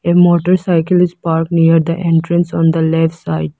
A motorcycle is park near the entrance on the left side.